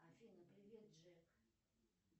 афина привет джек